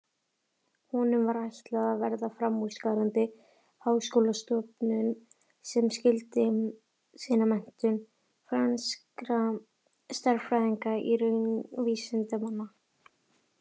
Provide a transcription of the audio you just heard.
Honum var ætlað að verða framúrskarandi háskólastofnun sem skyldi sinna menntun franskra stærðfræðinga og raunvísindamanna.